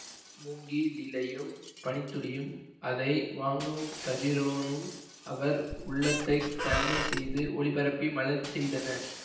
மூங்கி லிலையும் பனித்துளியும் அதை வாங்கும் கதிரோனும் அவர் உள்ளத்தைத் தண்மைசெய்து ஒளிபரப்பி மலர செய்தன